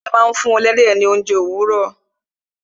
àgbẹ̀ máa ń fún ẹlẹ́dẹ̀ ní ounje òwúrọ̀